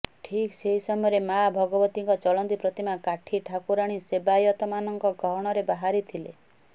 ଠିକ ସେହି ସମୟରେ ମା ଭଗବତୀଙ୍କ ଚଳନ୍ତି ପ୍ରତିମା କାଠି ଠାକୁରାଣୀ ସେବାୟତମାନଙ୍କ ଗହଣରେ ବାହାରିଥିଲେ